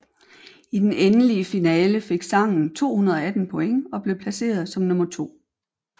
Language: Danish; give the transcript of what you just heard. I den endelige finale fik sangen 218 point og blev placeret som nummer 2